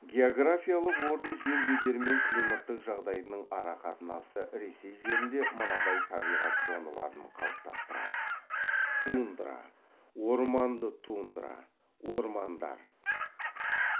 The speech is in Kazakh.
географиялық орны жер бедері мен климаттық жағдайының арақатынасы ресей жерінде мынадай табиғат зоналарын қалыптастырады тундра орманды тундра ормандар